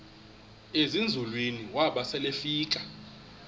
ezinzulwini waba selefika